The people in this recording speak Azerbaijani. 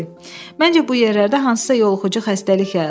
Məncə bu yerlərdə hansısa yoluxucu xəstəlik yayılıb.